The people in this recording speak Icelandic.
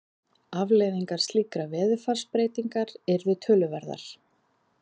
Afleiðingar slíkrar veðurfarsbreytingar yrðu töluverðar.